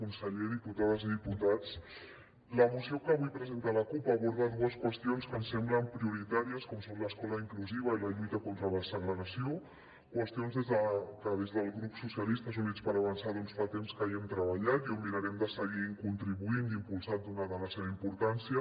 conseller diputades i diputats la moció que avui presenta la cup aborda dues qüestions que em semblen prioritàries com són l’escola inclusiva i la lluita contra la segregació qüestions que des del grup socialistes units per avançar fa temps que hi hem treballat i mirarem de seguir hi contribuint i impulsant donada la seva importància